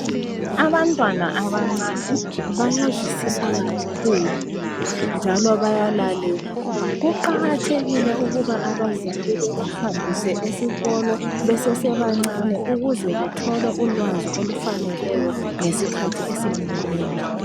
Abantwana abancane bayazwisisa kakhulu njalo bayalalela. Kuqakathekile ukuthi abazali babahambise esikolo besese bancinyane ukuze bathole ulwazi olufaneleyo ngesikhathi esifaneleyo.